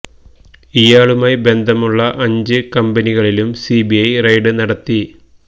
ഇയാളുമായി ബന്ധമുള്ള അഞ്ച് കമ്പനികളിലും സി ബി ഐ റെയ്ഡ് നടത്തി